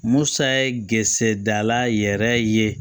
Musa ye gerɛse dala yɛrɛ ye